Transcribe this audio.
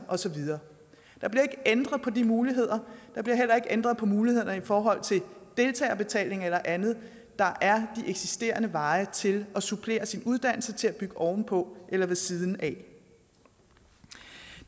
og så videre der bliver ikke ændret på de muligheder der bliver heller ikke ændret på mulighederne i forhold til deltagerbetaling eller andet der er de eksisterende veje til at supplere sin uddannelse til at bygge oven på eller ved siden af